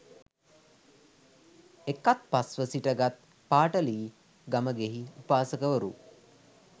එකත්පස් ව සිටගත් පාටලී ගමෙහි උපාසකවරු